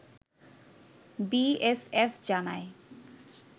BSF জানায়